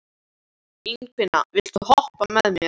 Ingifinna, viltu hoppa með mér?